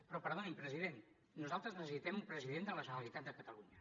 però perdoni’m president nosaltres necessitem un president de la generalitat de catalunya